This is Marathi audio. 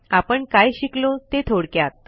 आपण काय शिकलो ते थोडक्यात